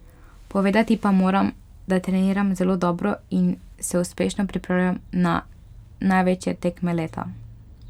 Povedati pa moram, da treniram zelo dobro in se uspešno pripravljam za največje tekme leta.